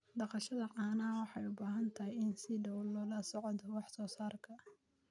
Dhaqashada caanaha waxay u baahan tahay in si dhow loola socdo wax soo saarka.